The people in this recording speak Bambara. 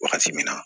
Wagati min na